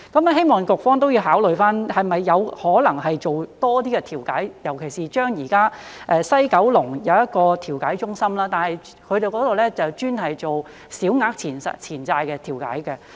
希望局方考慮是否有可能多做一些調解，尤其是現在西九龍有一個調解中心，但那裏只做小額錢債的調解。